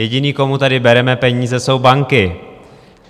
Jediný, komu tady bereme peníze, jsou banky.